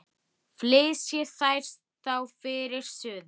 Flysjið þær þá fyrir suðu.